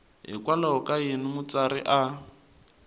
hikokwalaho ka yini mutsari a